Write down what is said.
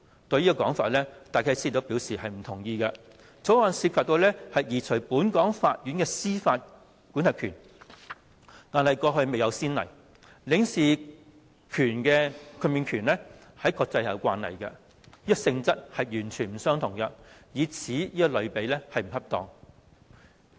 對於這種說法，戴啟思表示不同意，《條例草案》涉及移除本港法院的司法管轄權，過去未有先例，而領事豁免權在國際卻有慣例，性質完全不同，以此作為類比並不恰當。